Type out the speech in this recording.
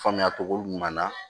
Faamuya cogo ɲuman na